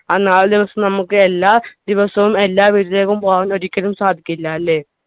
ആ നാല് ദിവസം നമ്മക്ക് എല്ലാ ദിവസവും എല്ലാ വീട്ടിലേക്കും പോകാൻ ഒരിക്കലും സാധിക്കുക ഇല്ല അല്ലെ